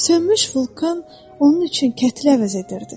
Sönmüş vulkan onun üçün kətli əvəz edirdi.